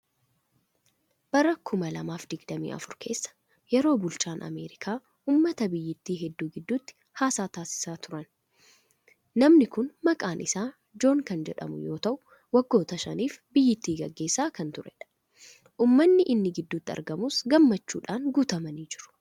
Bara kuma lamaaf dig-damii afur keessa yeroo bulchaan Ameerikaa uummata biyyattii hedduu gidduutti haasaa taasisaa turan. Namni kun maqaan isaa Joon kan jedhamu yoo ta'u, waggoota shaniif biyyattii gaggeessaa kan turedha. Uummanni inni gidduutti argamus gammachuun guutamanii jiru.